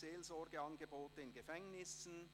«Seelsorgeangebote in Gefängnissen